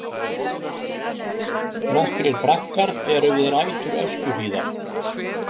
Nokkrir braggar eru við rætur Öskjuhlíðar.